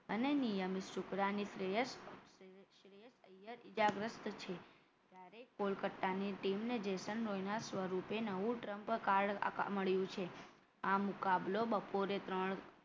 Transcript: અને નિયમિત શુક્લાને શ્રેયસ ઐયર ઇજાગ્રસ્ત છે જ્યારે કોલકત્તાની team ને જેસંઘ રોયના સ્વરૂપે નવું trump card મળ્યું છે આ મુકાબલો બપોરે ત્રણ